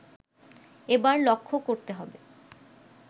এবার লক্ষ্য করতে হবে